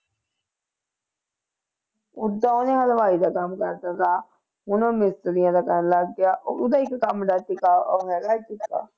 ਓਦਾਂ ਉਹਨੇ ਹਲਵਾਈ ਦਾ ਕੰਮ ਕਰਤਾ ਥਾ, ਹੁਣ ਉਹ ਮਿਸਤਰੀਆਂ ਦਾ ਕਰਨ ਲੱਗ ਗਿਆ, ਉਹਦਾ ਇੱਕ ਕੰਮ ਦਾ ਟਿਕਾਅ ਉਹ ਹੈਗਾ ਹੈ ਕਿੱਤਾ।